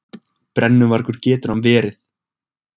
Brennuvargur getur hann verið!